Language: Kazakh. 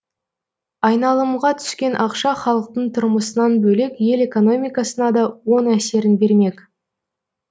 айналымға түскен ақша халықтың тұрмысынан бөлек ел экономикасына да оң әсерін бермек